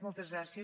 moltes gràcies